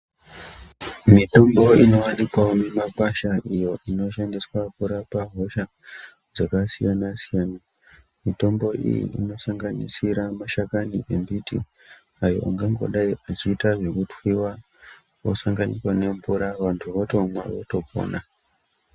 Mitombo inowanikwawo mumakwasha iyo inoshandiswa kurapa hosha dzakasiyana siyana. Mitombo iyi inosanganisira mashakani embiti ayo angangodayi echiita zvekutwiwa osanganiswa nemvura antu otomwa votopona.